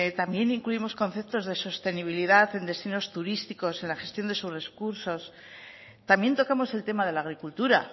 también incluimos conceptos de sostenibilidad en destinos turísticos en la gestión de también tocamos el tema de la agricultura